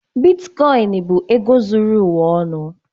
Bitkoịn bụ ego zuru ụwa ọnụ.